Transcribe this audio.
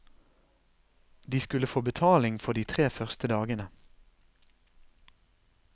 De skulle få betaling for de tre første dagene.